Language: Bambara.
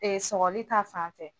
Ɛɛ sɔgɔli ta fan fɛ.